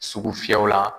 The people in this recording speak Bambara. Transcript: Sugu fiyɛw la